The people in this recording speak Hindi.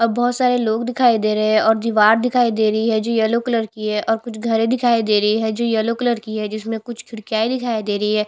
अब बहोत सारे लोग दिखाई दे रहे है ओर दीवार दिखाई दे रही है जी येलो कलर की है ओर कुछ घरे दिखाई दे रही है जो येलो कलर की है जिस मे कुछ खिड़किया ए दिखाई रही है।